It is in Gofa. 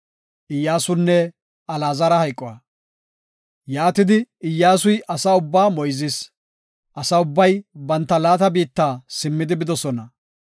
Yaatidi, Iyyasuy asaa ubbaa moyzis. Asa ubbay banta laata biitta simmidi bidosona.